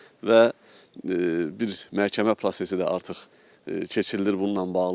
Və bir məhkəmə prosesi də artıq keçirilir bununla bağlı.